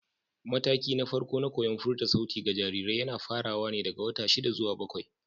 Matakina na farko na koyon furta sauti ga jarirai yana farawa ne daga wata shida zuwa bakwai.